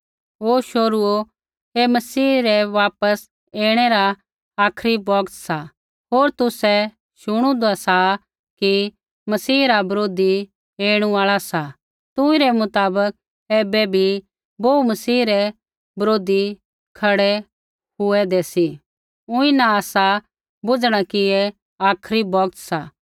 ओ शोहरूओ ऐ मसीह रै वापस ऐणै रा आखरी बौगत सा होर तुसै शुणुदा सा कि मसीह रा बरोधी ऐणु आल़ा सा तुंई रै मुताबक ऐबै भी बोहू मसीह रै बरोधी खड़ै हुऐंदे सी ऊँई न आसा बुझणा कि ऐ आखरी बौगत सा